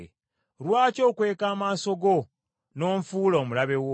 Lwaki okweka amaaso go, n’onfuula omulabe wo?